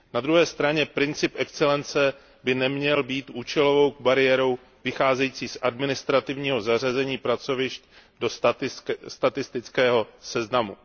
Na druhé straně princip excelence by neměl být účelovou bariérou vycházející z administrativního zařazení pracovišť do statistického seznamu.